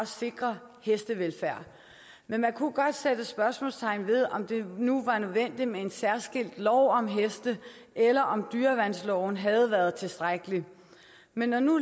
sikre hestevelfærd man kunne godt sætte spørgsmålstegn ved om det nu var nødvendigt med en særskilt lov om heste eller om dyreværnsloven havde været tilstrækkeligt men når nu